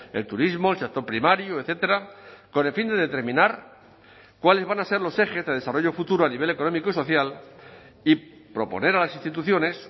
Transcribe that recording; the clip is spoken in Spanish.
el turismo el sector primario etcétera con el fin de determinar cuáles van a ser los ejes de desarrollo futuro a nivel económico y social y proponer a las instituciones